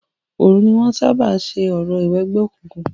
Òòru ní wọn ń sábà ń ṣe orò ìwẹgbẹ́ òkùnkun.